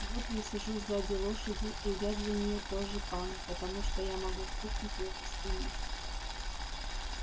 вот я сижу сзади лошади и я для неё тоже пан потому что я могу стукнуть её по спине